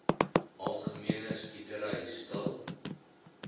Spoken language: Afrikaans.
algemene skietery stil